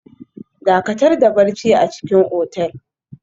Dakatar da barci a cikin otel